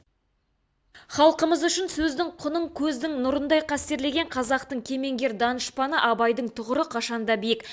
халқымыз үшін сөздің құнын көздің нұрындай қастерлеген қазақтың кемеңгер данышпаны абайдың тұғыры қашанда биік